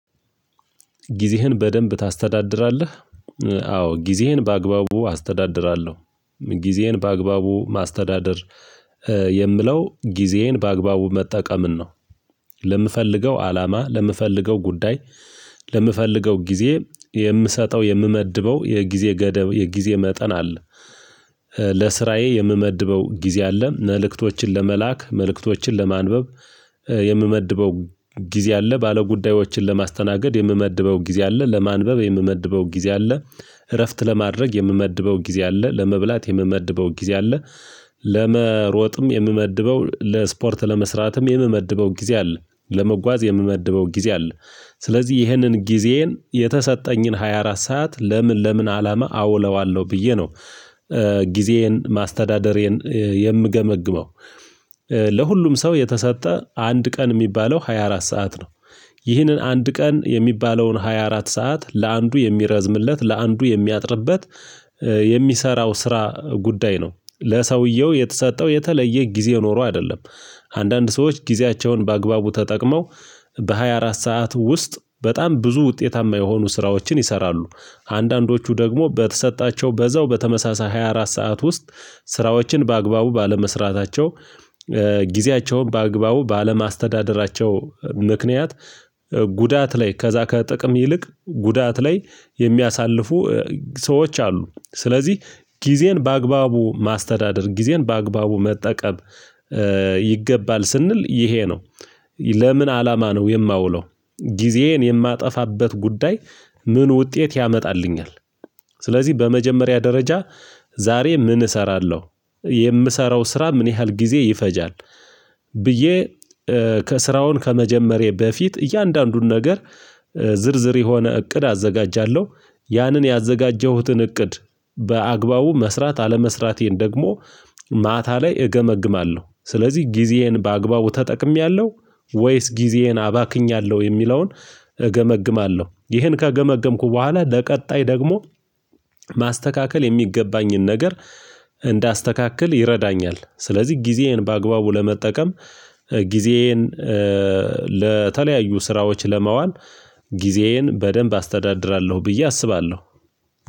ጊዜህን በደንብ ታስተዳድራለህ? አዎ ጊዜህን በአግባቡ አስተዳድራለሁ ጊዜህን በአግባቡ ማስተዳደር የምለው ጊዜዬን በአግባቡ መጠቀምን ነው። ለምፈልገው አላማ ለምፈልገው ጉዳይ ለምፈልገው ጊዜ የምሰጠው የምመድበው የጊዜ ገደብ የጊዜ መጠን አለ። ለስራዬ የምመድበው ጊዜ አለ መልእክቶችን ለመላክ መልእክቶችን ለማንበብ የምመድበው ጊዜ አለ። ባለጉዳዮችን ለማስተናገድ የምመድበው ጊዜ አለ። ለማንበብ የምመድበው ጊዜ አለ። እረፍት ለማድረግ የምመድበው ጊዜ አለ። ለመብላት የምመድበው ጊዜ አለ። ለመሮጥም የምመድበው ለስፖርት ለመስራትም የምመድበው ጊዜ አለ። ለመጓዝ የምመድበው ጊዜ አለ። ስለዚህ ይህንን ጊዜዬን የተሰጠኝን ሃያ አራት ሰዓት ለምን ለምን አላማ አውለዋለሁ ብዬ ነው። ጊዜዬን ማስተዳደሬን የምገመግመው ለሁሉም ሰው የተሰጠ አንድ ቀን የሚባለው ሃያ አራት ሰዓት ነው። ይህንን አንድ ቀን የሚባለውን ሃያ አራት ሰዓት ለአንዱ የሚረዝምለት ለአንዱ የሚያጥርበት የሚሰራው ስራ ጉዳይ ነው ለሰውየው የተሰጠው የተለየ ጊዜ ኖሮ አይደለም። አንዳንድ ሰዎች ጊዜያቸውን በአግባቡ ተጠቅመው በሃያ አራት ሰዓት ውስጥ በጣም ብዙ ውጤታማ የሆኑ ስራዎችን ይሰራሉ። አንዳንዶቹ ደግሞ በተሰጣቸው በዛው በተመሳሳይ ሃያ አራት ሰዓት ውስጥ ስራዎችን በአግባቡ ባለመስራታቸው ጊዜያቸውን በአግባቡ ባለማስተዳደራቸው ምክንያት። ጉዳት ላይ ከዛ ከጥቅም ይልቅ ጉዳት ላይ የሚያሳልፉ ሰዎች አሉ። ስለዚህ ጊዜን በአግባቡ ማስተዳደር ጊዜን በአግባቡ መጠቀም ይገባል ስንል ይሄ ነው። ለምን አላማ ነው የማውለው። ጊዜዬን የማጠፋበት ጉዳይ ምን ውጤት ያመጣልኛል? ስለዚህ በመጀመሪያ ደረጃ ዛሬ ምን እሰራለሁ የምሰራው ስራ ምን ያህል ጊዜ ይፈጃል? ብዬ ስራውን ከመጀመሬ በፊት እያንዳንዱን ነገር ዝርዝር የሆነ እቅድ አዘጋጃለሁ። ያንን ያዘጋጀሁትን እቅድ በአግባቡ መስራት አለመስራቴን ደግሞ ማታ ላይ እገመግማለሁ። ስለዚህ ጊዜዬን በአግባቡ ተጠቅሜያለሁ ወይስ ጊዜዬን አባክኛለሁ የሚለውን እገመግማለሁ። ይሄን ከገመገምኩ በኋላ ለቀጣይ ደግሞ ማስተካከል የሚገባኝን ነገር እንዳስተካክል ይረዳኛል። ስለዚህ ጊዜዬን በአግባቡ ለመጠቀም ጊዜዬን ለተለያዩ ስራዎች ለማዋል ጊዜዬን በደንብ አስተዳድራለሁ ብዬ አስባለሁ።